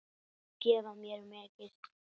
Það gaf mér mikinn styrk.